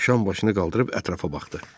Ram başını qaldırıb ətrafa baxdı.